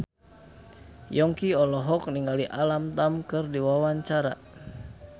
Yongki olohok ningali Alam Tam keur diwawancara